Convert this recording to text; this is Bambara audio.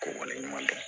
Ko waleɲuman dɔn